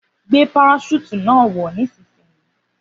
Gbé paraṣúùtù náà wọ̀ nísinsìnyí